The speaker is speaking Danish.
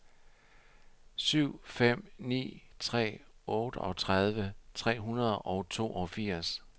syv fem ni tre otteogtredive tre hundrede og toogfirs